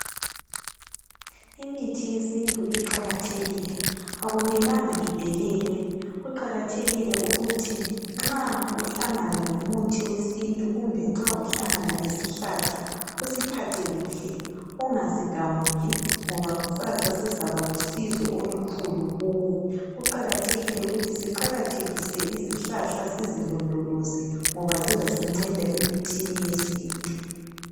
imithi yesintu iqakathekile akumelanga idelelwe kuqakathekile ukuthi nxa uhlangana lomuthi wesntu kumbe nxa uhlangana lesihlahla usiphathe kuhle ungasigamuli ngoba kusasa sizaba lusizo olukhulu kuwe kuqakathekile ukuthi siqakathekise izihlahla sizilondoloze ngoba zizasinceda emithini yesintu